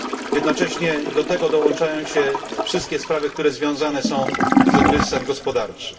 Jednocześnie do tego dołączają się wszystkie sprawy, które są związane są z kryzysem gospodarczym.